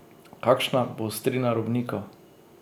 Kakšna bo ostrina robnikov?